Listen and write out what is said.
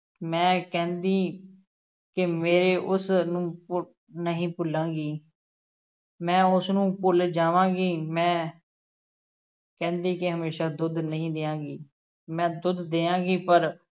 ਮੈਂ ਕਹਿੰਦੀ ਕਿ ਮੇਰੇ ਉਸ ਨੂੰ ਭੁ~ ਨਹੀਂ ਭੁੱਲਾਂਗੀ ਮੈਂ ਉਸ ਨੂੰ ਭੁੱਲ ਜਾਵਾਂਗੀ, ਮੈਂ ਕਹਿੰਦੀ ਕਿ ਹਮੇਸ਼ਾਂ ਦੁੱਧ ਨਹੀਂ ਦਿਆਂਗੀ, ਮੈਂ ਦੁੱਧ ਦਿਆਂਗੀ ਪਰ